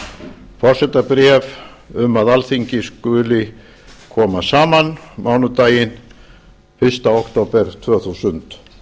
haarde forsetabréf um að alþingi skuli koma saman mánudaginn fyrsta október tvö þúsund